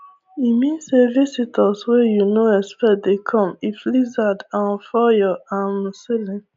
emean say visitor wey you no expect dey come if lizard um fall your um ceiling